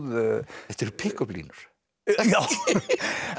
þetta eru pikköpplínur en